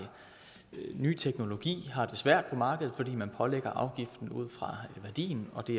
ny teknologi har det svært på markedet fordi man pålægger afgiften ud fra værdien og det